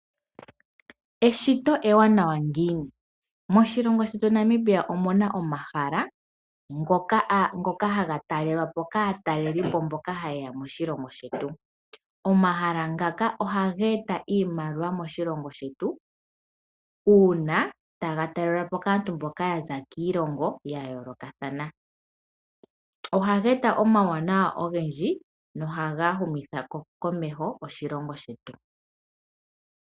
Eshito ewanawa ngiini? Moshilongo shetu Namibia omuna omahala ngoka haga talelwapo kaatalelipo mpoka hayeya moshilongo shetu. Omahala ngaka ohage eta iimaliwa moshilongo shetu una taga talelwapo kaantu mboka yaza kiilongo yayoolokathana. Ohage eta omawuwanawa ogendji nohaga humitha komeho oshilongo shetu.